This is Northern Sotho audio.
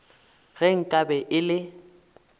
ge nka be e le